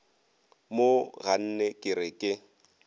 mo ganne ke re ke